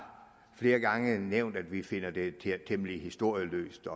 flere gange nævnt at vi finder det temmelig historieløst